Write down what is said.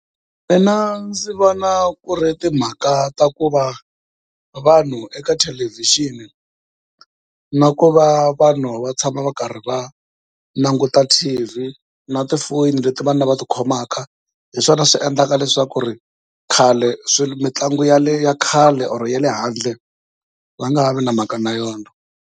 Mina ndzi vona ku ri timhaka ta ku va vanhu eka thelevhixini na ku va vanhu va tshama va karhi va languta T_V, na tifoyini leti vanhu lava ti khomaka hi swona swi endlaka leswaku khale, mitlangu ya khale or ya le handle va nga ha vi na mhaka na yona.